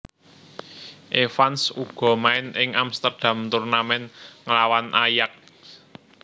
Evans uga main ing Amsterdam Tournament nglawan Ajax